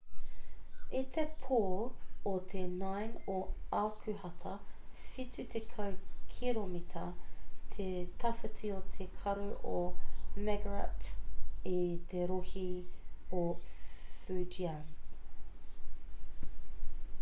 i te pō o te 9 o akuhata whitu tekau kiromita te tawhiti o te karu o morakot i te rohe o fujian